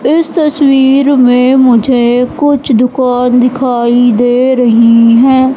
इस तस्वीर में मुझे कुछ दुकान दिखाई दे रही हैं।